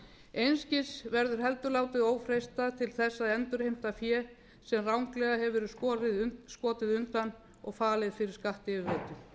einskis verður heldur látið ófreistað til að endurheimta fé sem ranglega hefur verið skotið undan og falið fyrir skattyfirvöldum